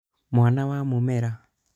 mwana wa mũmera